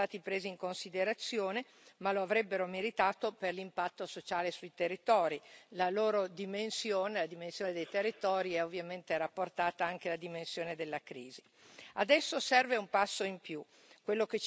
Troppe volte i casi di realtà più piccole, non sono stati presi in considerazione, ma lo avrebbero meritato per l'impatto sociale sui territori, la loro dimensione, la dimensione dei territori, è ovviamente rapportata anche alla dimensione della crisi.